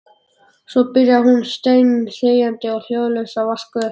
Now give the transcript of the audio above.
Svo byrjaði hún steinþegjandi og hljóðalaust að vaska upp.